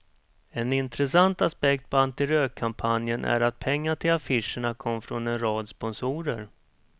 En intressant aspekt på antirökkampanjen är att pengar till affischerna kom från en rad sponsorer.